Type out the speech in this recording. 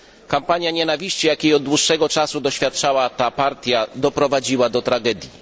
Kampania nienawiści, jakiej od dłuższego czasu doświadczała ta partia, doprowadziła do tragedii.